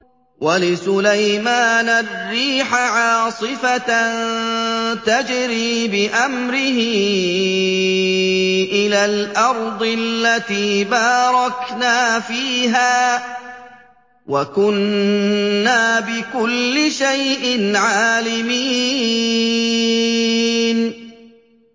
وَلِسُلَيْمَانَ الرِّيحَ عَاصِفَةً تَجْرِي بِأَمْرِهِ إِلَى الْأَرْضِ الَّتِي بَارَكْنَا فِيهَا ۚ وَكُنَّا بِكُلِّ شَيْءٍ عَالِمِينَ